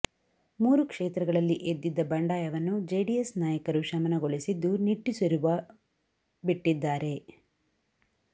ಮೂರು ಕ್ಷೇತ್ರಗಳಲ್ಲಿ ಎದ್ದಿದ್ದ ಬಂಡಾಯವನ್ನು ಜೆಡಿಎಸ್ ನಾಯಕರು ಶಮನಗೊಳಿಸಿದ್ದು ನಿಟ್ಟುಸಿರುವ ಬಿಟ್ಟಿದ್ದಾರೆ